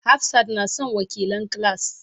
Hafsat na son wakilan class.